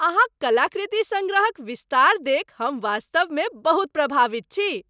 अहाँक कलाकृति सङ्ग्रहक विस्तार देखि हम वास्तवमे बहुत प्रभावित छी।